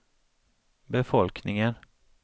befolkningen